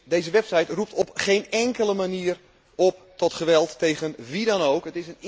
Deze website roept op geen enkele manier op tot geweld tegen wie dan ook.